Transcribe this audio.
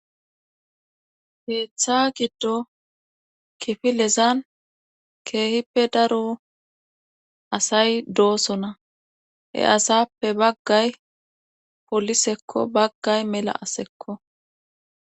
keeththa giddo kifilezan keehippe daro asay doosona he asappe baggay polisekko baggay mela asekko